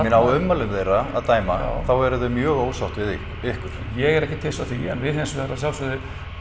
á ummælum þeirra að dæma þá eru þau mjög ósátt við ykkur ég er ekkert hissa á því en við hins vegar að sjálfsögðu